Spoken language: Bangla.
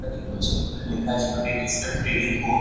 এটা দেখতে পাচ্ছি দেখুন এটা লেখা আছে গ্রেট ইস্টার্ন ট্রেডিং কো. ।